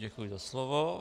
Děkuji za slovo.